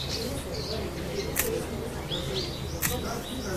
இல்ல சார், உங்க கிட்ட பேசுனது சந்தோஷம், ரொம்ப​ தேங்க்ஸ்.